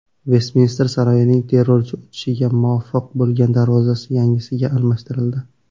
Vestminster saroyining terrorchi o‘tishga muvaffaq bo‘lgan darvozasi yangisiga almashtirildi.